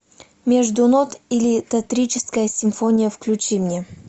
между нот или тантрическая симфония включи мне